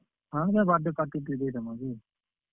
ହଁ birthday party ଟେ ଦେଇଦେମା ଯେ।